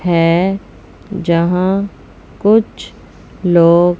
है यहां कुछ लोग--